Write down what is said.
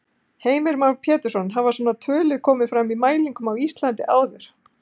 Heimir Már Pétursson: Hafa svona tölur komið fram í mælingum á Íslandi áður?